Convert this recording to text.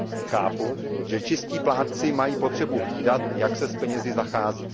Chápu, že čistí plátci mají potřebu hlídat, jak se s penězi zachází.